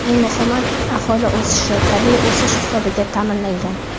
Eng muhimi, aholi o‘sishi tabiiy o‘sish hisobiga ta’minlangan.